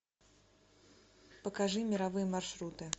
покажи мировые маршруты